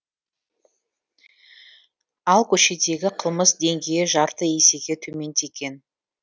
ал көшедегі қылмыс деңгейі жарты есеге төмендеген